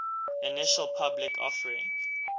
initial public offering